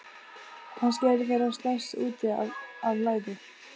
Kannski eru þeir að slást út af læðu?